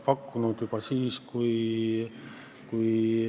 Aga me ei saa neid asutusi sulgeda, kui me ei näe neid eelarves.